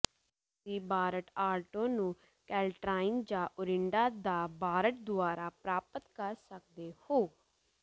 ਤੁਸੀਂ BART Alto ਨੂੰ Caltrain ਜਾਂ ਓਰਿੰਡਾ ਦਾ ਬਾਰਟ ਦੁਆਰਾ ਪ੍ਰਾਪਤ ਕਰ ਸਕਦੇ ਹੋ